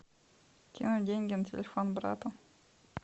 кинуть деньги на телефон брата